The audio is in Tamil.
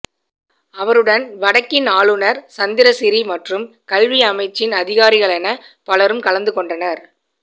அவருடன் வடக்கின் ஆளுநர் சந்திரசிறி மற்றும் கல்வி அமைச்சின் அதிகாரிகளென பலரும் கலந்து கொண்டனர்